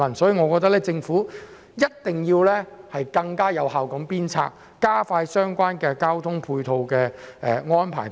因此，我認為政府必須更有效地加快處理相關交通配套安排。